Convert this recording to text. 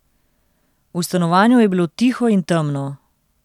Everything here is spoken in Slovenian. V stanovanju je bilo tiho in temno.